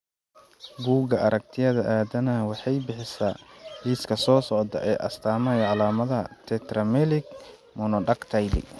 Buggga Aaragtiyaha Aadanaha waxay bixisaa liiska soo socda ee astamaha iyo calaamadaha Tetramelic monodactyly.